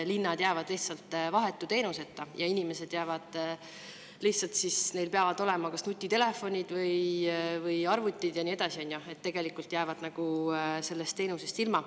Linnad jäävad lihtsalt vahetu teenuseta ja inimestel peavad olema nutitelefonid, arvutid ja nii edasi, on ju, tegelikult nad jäävad sellest teenusest ilma.